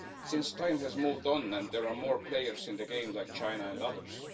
since time has moved on and there are more players in the game, like China and others.